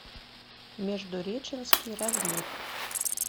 междуреченский разлив